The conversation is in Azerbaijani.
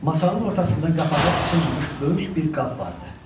Masanın ortasında qapağı açılmamış böyük bir qab vardı.